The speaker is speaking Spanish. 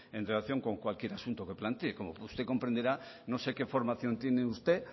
en relación con cualquier asunto que plantee como usted comprenderá no sé qué formación tiene usted